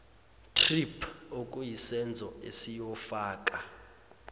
thrip okuyisenzo esiyofaka